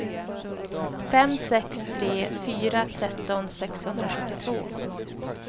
fem sex tre fyra tretton sexhundrasjuttiotvå